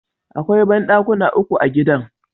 Akwai banɗakuna uku a gidan.